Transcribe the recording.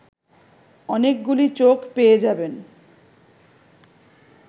অনেকগুলি চোখ পেয়ে যাবেন